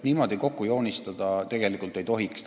Niimoodi tasakaalu kokku joonistada tegelikult ei tohiks.